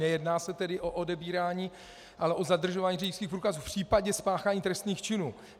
Nejedná se tedy o odebírání, ale o zadržování řidičských průkazů v případě spáchání trestných činů.